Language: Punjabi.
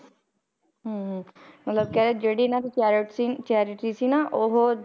ਹਮ ਮਤਲਬ ਕਹਿੰਦੇ ਜਿਹੜੀ ਇਹਨਾਂ ਦੀ ਚੈਰਿਟ ਸੀ charity ਸੀ ਨਾ ਉਹ